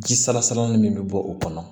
Ji salasalali min bɛ bɔ o kɔnɔ